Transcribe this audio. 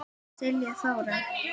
Silla Þóra.